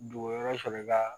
Dugu wɛrɛ sɔrɔ la